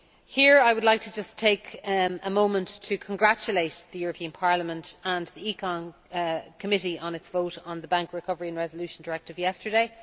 Here I would like to take a moment to congratulate the European Parliament and the ECON committee on its vote on the Bank Recovery and Resolution Directive yesterday.